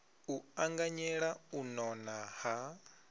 u anganyela u nona ha